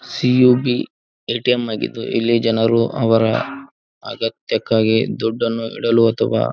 CUB ATM ಆಗಿದ್ದು ಇಲ್ಲಿ ಜನರು ಅವರ ಅಗತ್ಯಕ್ಕಾಗಿ ದುಡ್ಡನ್ನು ಇಡಲು ಅಥವಾ--